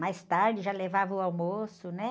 Mais tarde já levava o almoço, né?